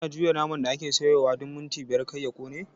Kana juya naman da ake soyawa duk minti biyar kar ya ƙone